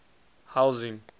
housing